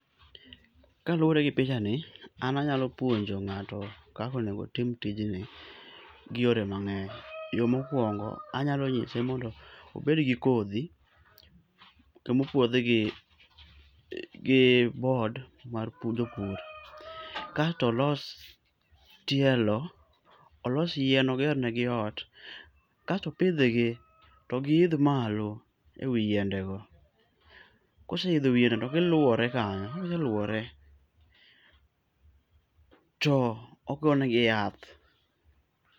Kaluwore gi picha ni, an anyalo puonjo ng'ato kaka onego otim tijni gi yore mang'eny. Yo mokuongo, anyalo nyise mondo obed gi kodhi ka mopuodh gi, gi board mar jopur. Kas to olos tielöo, olos yien oger nigi ot, kas to opidghgi, to giidh malo ewi yiendego. Koseidho wi yiendego to giluwore kanyo, koseluwore to ogo negi yath.